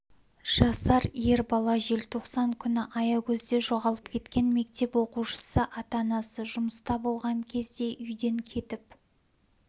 жасар ер бала желтоқсан күні аягөзде жоғалып кеткен мектеп оқушысы ата-анасы жұмыста болған кезде үйден кетіп